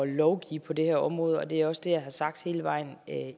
lovgive på det her område og det er også det jeg har sagt hele vejen